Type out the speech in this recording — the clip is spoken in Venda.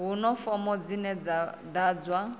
huna fomo dzine dza ḓadzwa